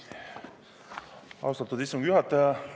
Austatud istungi juhataja!